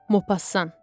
Mopasan.